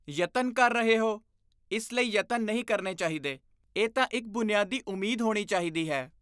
ਯਤਨ ਕਰ ਰਹੇ ਹੋ? ਇਸ ਲਈ ਯਤਨ ਨਹੀਂ ਕਰਨੇ ਚਾਹੀਦੇ, ਇਹ ਤਾਂ ਇੱਕ ਬੁਨਿਆਦੀ ਉਮੀਦ ਹੋਣੀ ਚਾਹੀਦੀ ਹੈ।